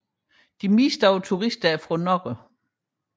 Flertallet af turisterne er fra Norge